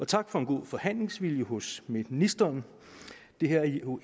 tak for en god forhandlingsvilje hos ministeren det her er jo